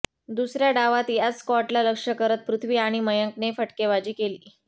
दुसऱ्या डावात याच स्कॉटला लक्ष करत पृथ्वी आणि मयंकने फटकेबाजी केली